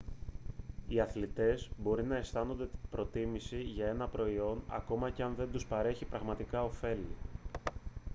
οι αθλητές μπορεί να αισθάνονται προτίμηση για ένα προϊόν ακόμα και αν δεν τους παρέχει πραγματικά οφέλη